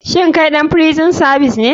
Shin kai ɗan frison savis ne?